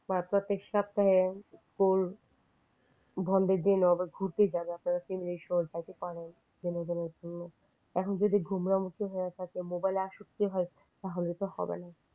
বার বার বন্ধের দিন ঘুরতে যাওয়ার আপনারা সবাই এখন যদি গোমড়ামুখী হয়ে থাকে মোবাইলে প্রতি আসক্তি হয় তাহলে তো হবে না।